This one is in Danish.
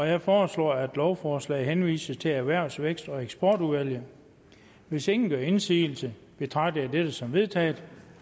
jeg foreslår at lovforslaget henvises til erhvervs vækst og eksportudvalget hvis ingen gør indsigelse betragter jeg dette som vedtaget